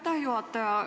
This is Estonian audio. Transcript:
Aitäh, juhataja!